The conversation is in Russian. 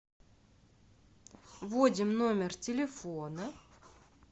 вводим номер телефона